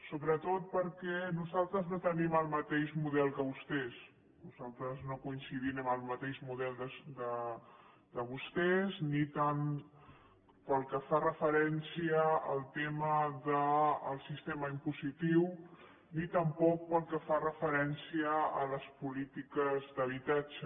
sobretot perquè nosaltres no tenim el mateix model que vostès nosaltres no coincidim amb el mateix model de vostès ni pel que fa referència al tema del sistema impositiu ni tampoc pel que fa referència a les polítiques d’habitatge